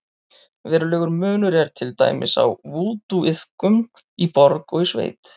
Verulegur munur er til dæmis á vúdúiðkun í borg og í sveit.